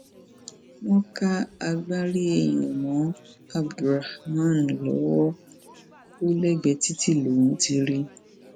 wọn ká agbárí èèyàn mọ abdulrahman lọwọ ò lẹgbẹẹ títí lòún ti rí i